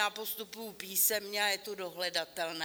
Já postupuji písemně a je to dohledatelné.